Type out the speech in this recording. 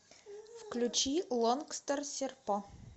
включи лонгстор серпо